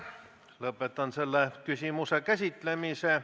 Lõpetan selle küsimuse käsitlemise.